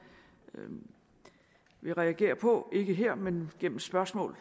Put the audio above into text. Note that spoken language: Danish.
vil reagere på ikke her men gennem spørgsmål